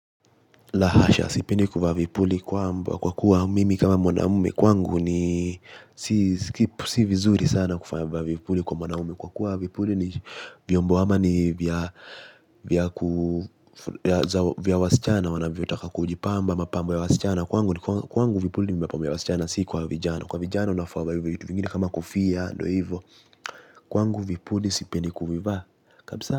La hasha, sipendi kuvaa vipuli kwamba kwa kuwa mimi kama mwanaume kwangu ni si si vizuri sana kuvaa mavipuli kwa mwanaume kwa kuwa vipuli ni vyombo ama ni vya vya ku vya wasichana wanavyotaka kujipamba mapambo ya wasichana. Kwangu ni kwangu vipuli ni mapambo ya wasichana si kwa vijana. Kwa vijana unafaa uvae vitu vingine kama kofia, ndio hivyo. Kwangu vipuli sipendi kuvivaa kabisa.